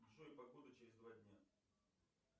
джой погода через два дня